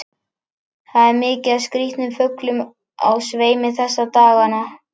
Það er mikið af skrýtnum fuglum á sveimi þessa dagana.